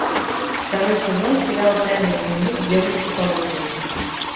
второй сезон сериал тайный дневник девушки по вызову